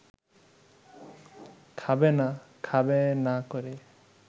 খাবে না, খাবে না করে